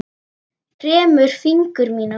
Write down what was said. Kremur fingur mína.